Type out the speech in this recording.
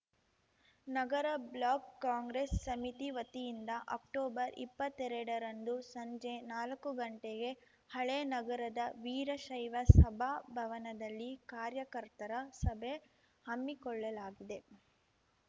ನಗರ block Congress ಸಮಿತಿ ವತಿಯಿಂದ ಅಕ್ಟೊಬರ್ಇಪ್ಪತ್ತೆರಡರಂದು ಸಂಜೆ ನಾಲ್ಕು ಗಂಟೆಗೆ ಹಳೇ ನಗರದ ವೀರಶೈವ ಸಭಾ ಭವನದಲ್ಲಿ ಕಾರ್ಯಕರ್ತರ ಸಭೆ ಹಮ್ಮಿಕೊಳ್ಳಲಾಗಿದೆ